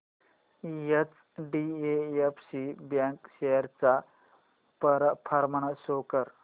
HDFC bank shares चा performance show कर